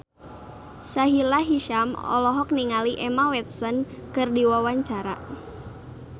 Sahila Hisyam olohok ningali Emma Watson keur diwawancara